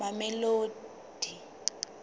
mamelodi